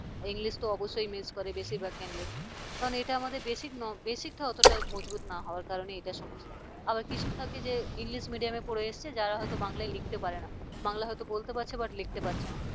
english অবশ্যই miss করে বেশিরভাগ candidate কারণ এটা আমাদের basic basic টা অতটা মজবুত না হওয়ার কারণে এটা সমস্যা আবার কিছু থাকে যে english medium পড়ে এসেছে যারা হয়তো বাংলায় লিখতে পারে না বাংলা হয়তো বলতে পারছে but লিখতে পারছে না।